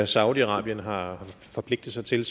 saudi arabien har forpligtet sig til